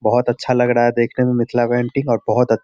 बहुत अच्छा लग रहा है देखने में मिथिला पेंटिंग और बहुत अ --